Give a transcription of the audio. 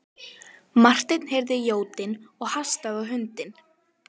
Marteinn heyrði jódyn og hastaði á hundinn.